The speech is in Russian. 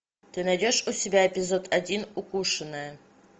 ты найдешь у себя эпизод один укушенная